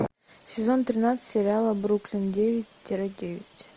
сезон тринадцать сериала бруклин девять тире девять